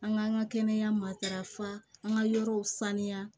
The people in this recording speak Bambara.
An ka an ka kɛnɛya matarafa an ka yɔrɔw sanuya